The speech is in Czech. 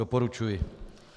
Doporučuji.